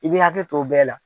I bɛ i hakili to bɛɛ la.